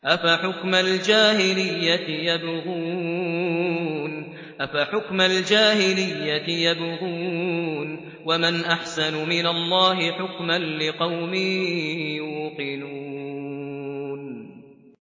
أَفَحُكْمَ الْجَاهِلِيَّةِ يَبْغُونَ ۚ وَمَنْ أَحْسَنُ مِنَ اللَّهِ حُكْمًا لِّقَوْمٍ يُوقِنُونَ